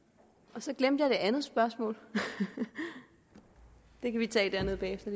og så glemte jeg det andet spørgsmål det kan vi tage dernede bagefter